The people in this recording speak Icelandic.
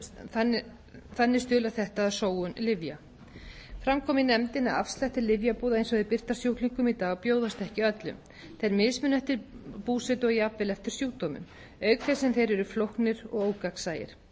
þannig stuðlar þetta að sóun lyfja fram kom í nefndinni að afslættir lyfjabúða eins og þeir birtast sjúklingum í dag bjóðast ekki öllum þeir mismuna eftir búsetu og jafnvel eftir sjúkdómum auk þess sem þeir eru flóknir og ógagnsæir